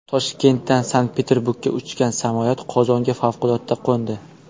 Toshkentdan Sankt-Peterburgga uchgan samolyot Qozonga favqulodda qo‘ndi.